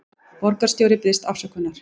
Borgarstjóri biðjist afsökunar